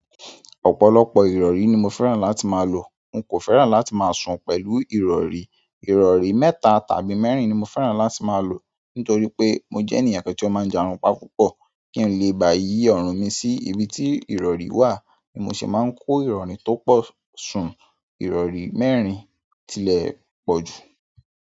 Ọ̀pọ̀lọpọ̀ ìrọ̀rí ni mo fẹ́ràn láti máa lò. N kò fẹ́ràn láti máa sùn pẹ̀lú ìrọ̀rí. Irori mẹ́ta tàbí meerin ni mo fẹ́ràn láti maa lo, nitoripe mo je ènìyàn kan ti o ma n jarunpa púpọ̀ kí n lè ba yì ọ̀rùn mi sí ibi tí ìrọ̀rí wà, ni mo ṣe máa ń kó ìrọ̀rí tó pọ̀ sùn. Ìrọ̀rí mẹ́rin tilẹ̀ pọ̀jù.